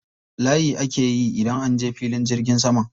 Layi ake yi idan an je filin jirgin sama.